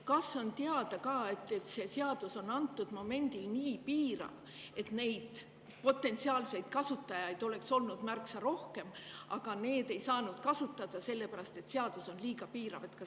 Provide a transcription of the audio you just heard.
Kas on ka teada see, et seadus on antud momendil nii piirav ja et selle potentsiaalseid kasutajaid oleks muidu olnud märksa rohkem, aga ei saanud sellepärast kasutada, et seadus on liiga piirav?